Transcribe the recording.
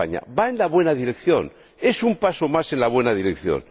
Va en la buena dirección, es un paso más en la buena dirección.